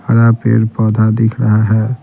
बड़ा पेड़ पौधा दिख रहा है।